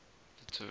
the term